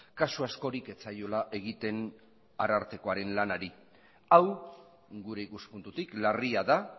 kasu askorik ez zaiola egiten arartekoaren lanari hau gure ikuspuntutik larria da